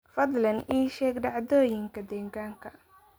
fadlan ii sheeg dhacdooyinka deegaanka